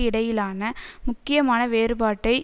இடையிலான முக்கியமான வேறுபாட்டை